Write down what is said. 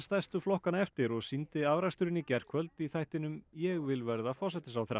stærstu flokkanna eftir og sýndi afraksturinn í gærkvöld í þættinum ég vil verða forsætisráðherra